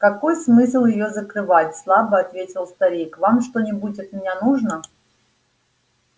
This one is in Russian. какой смысл её закрывать слабо ответил старик вам что-нибудь от меня нужно